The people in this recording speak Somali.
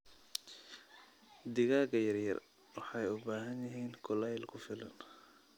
Digaaga yaryar waxay u baahan yihiin kuleyl ku filan.